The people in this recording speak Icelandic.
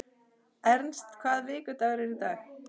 Ernst, hvaða vikudagur er í dag?